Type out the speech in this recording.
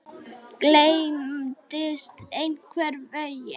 Gleymdist einhvern veginn.